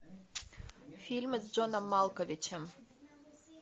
фильмы с джоном малковичем